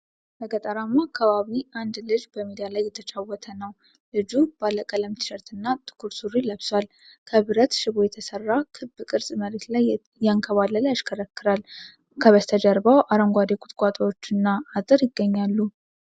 በገጠራማ አካባቢ አንድ ልጅ በሜዳ ላይ እየተጫወተ ነው። ልጁ ባለቀለም ቲሸርትና ጥቁር ሱሪ ለብሷል። ከብረት ሽቦ የተሰራ ክብ ቅርፅ መሬት ላይ እያንከባለለ ያሽከረክራል። ከበስተጀርባው አረንጓዴ ቁጥቋጦዎችና አጥር ይገኛሉ።